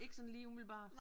Ikke sådan lige umiddelbart